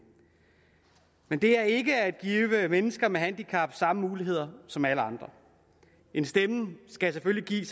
men det er ikke at give mennesker med handicap samme muligheder som alle andre en stemme skal selvfølgelig